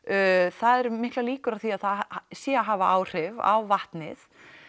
það eru miklar líkur á því að það sé að hafa áhrif á vatnið